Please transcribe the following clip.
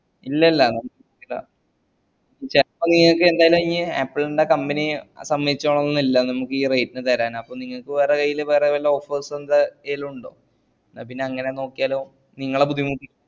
ഇല്ലല്ലാ ഇങ്ങൾക് ന്റാലു ഈ ആപ്പിൾ ന്റെ company സമ്മയിച്ചോളണം ന്ന് ഇല്ല നമ്മക്ക് ഈ rate ന് തരാൻ അപ്പൊ നിങ്ങക്ക് വേറെ ഈല് വേറെ വല്ല offers ന്ത ഇതും ഇണ്ടോ ന്നാ പിന്ന അങ്ങന നോക്കിയാലോ നിങ്ങളെ ബുദ്ധിമുട്ടി